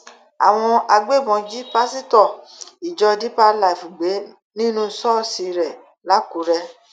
àwọn agbébọn jí pásítọ ìjọ deeper life gbé nínú ṣọọṣì rẹ lákùrè